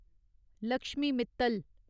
Lakshmi Mittal